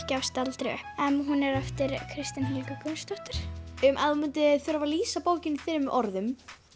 gefst aldrei upp en hún er eftir Kristínu Helgu Gunnarsdóttir ef þú myndir þurfa að lýsa bókinni í þremur orðum